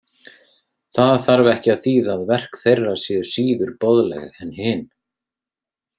Það þarf ekki að þýða að verk þeirra séu síður boðleg en hin.